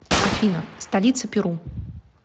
афина столица перу